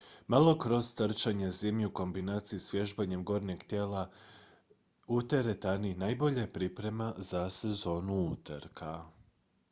malo cross trčanja zimi u kombinaciji s vježbanjem gornjeg dijela tijela u teretani najbolja je priprema za sezonu utrka